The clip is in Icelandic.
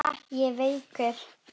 Ha, ég veikur!